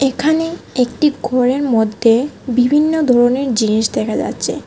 এখানে একটি ঘরের মদ্যে বিভিন্ন ধরনের জিনিস দেখা যাচ্চে।